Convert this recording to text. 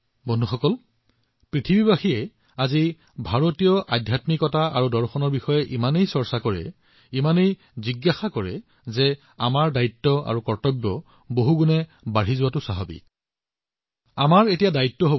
বন্ধুসকল যেতিয়া বিশ্বৰ মানুহে আজি ভাৰতীয় আধ্যাত্মিকতা আৰু দৰ্শনৰ বিষয়ে ইমান চিন্তা কৰে গতিকে এই মহান পৰম্পৰাবোৰক আগুৱাই নিয়াটোও আমাৰ দায়িত্ব